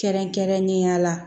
Kɛrɛnkɛrɛnnenya la